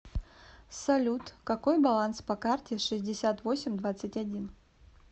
салют какой баланс по карте шестьдесят восемь двадцать один